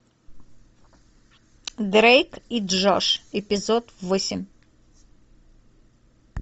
дрейк и джош эпизод восемь